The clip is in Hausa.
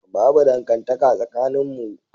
Babu dangantaka tsakaninmu.